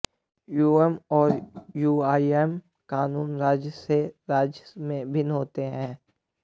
UM और UIM कानून राज्य से राज्य में भिन्न होते हैं